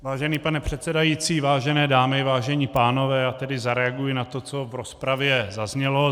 Vážený pane předsedající, vážené dámy, vážení pánové, já tedy zareaguji na to, co v rozpravě zaznělo.